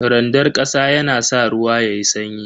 Randar kasa yana sa ruwa yayi sanyi.